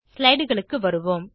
slideகளுக்கு வருவோம்